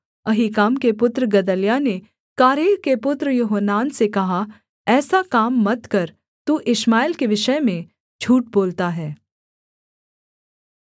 अहीकाम के पुत्र गदल्याह ने कारेह के पुत्र योहानान से कहा ऐसा काम मत कर तू इश्माएल के विषय में झूठ बोलता है